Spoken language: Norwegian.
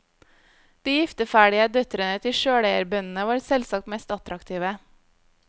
De gifteferdige døtrene til sjøleierbøndene var selvsagt mest attraktive.